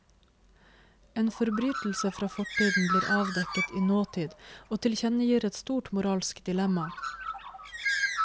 En forbrytelse fra fortiden blir avdekket i nåtid og tilkjennegir et stort moralsk dilemma.